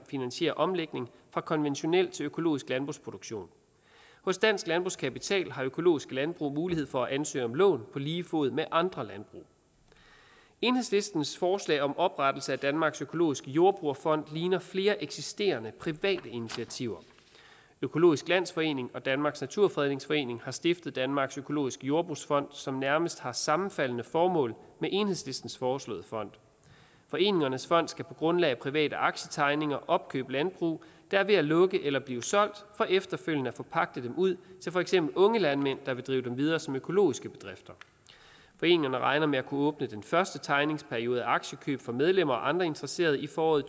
finansiere omlægning fra konventionel til økologisk landbrugsproduktion hos dansk landbrugskapital har økologiske landbrug mulighed for at ansøge om lån på lige fod med andre landbrug enhedslistens forslag om oprettelse af danmarks økologiske jordbrugerfond ligner flere eksisterende private initiativer økologisk landsforening og danmarks naturfredningsforening har stiftet danmarks økologiske jordbrugsfond som nærmest har sammenfaldende formål med enhedslistens foreslåede fond foreningernes fond skal på grundlag af private aktietegninger opkøbe landbrug der er ved at lukke eller blive solgt for efterfølgende at forpagte dem ud til for eksempel unge landmænd der vil drive dem videre som økologiske bedrifter foreningerne regner med at kunne åbne den første tegningsperiode for aktiekøb for medlemmer og andre interesserede i foråret